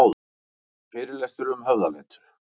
Fyrirlestur um höfðaletur